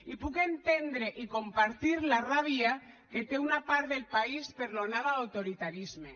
i puc entendre i compartir la ràbia que té una part del país per l’onada d’autoritarisme